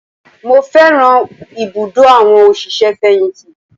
Mo fẹ́ràn ibùdó àwọn òṣìṣẹ́-fẹ̀yìntì